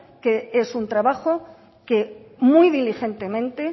que es un trabajo que muy diligentemente